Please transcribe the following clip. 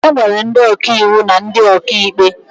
E nwere ndị ọkàiwu na ndị ọkàikpe